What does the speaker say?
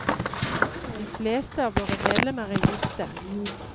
De fleste av våre medlemmer er gifte.